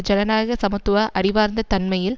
ஜனநாயக சமத்துவ அறிவார்ந்த தன்மையில்